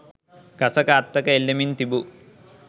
ගසක අත්තක එල්ලෙමින් තිබූ